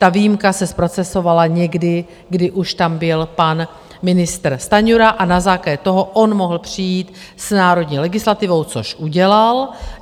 Ta výjimka se zprocesovala někdy, kdy už tam byl pan ministr Stanjura, a na základě toho on mohl přijít s národní legislativou, což udělal.